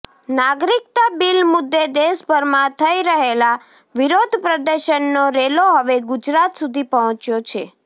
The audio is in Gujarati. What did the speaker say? નાગરિકતા બિલ મુદ્દે દેશભરમાં થઇ રહેલા વિરોધ પ્રદર્શનનો રેલો હવે ગુજરાત સુધી પહોંચ્યો છે